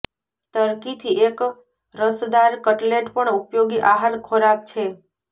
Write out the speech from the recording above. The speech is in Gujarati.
ટર્કીથી એક રસદાર કટલેટ પણ ઉપયોગી આહાર ખોરાક છે